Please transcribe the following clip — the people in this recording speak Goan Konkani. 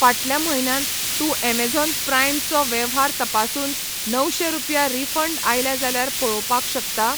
फाटल्या म्हयन्यान तू ऍमेझॉन प्राइम चो वेव्हार तपासून णवशे रुपया रिफंड आयल्या जाल्यार पळोवपाक शकता?